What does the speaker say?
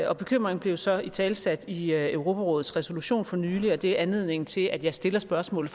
og bekymringen blev så italesat i europarådets resolution for nylig og det er anledningen til at jeg stiller spørgsmålet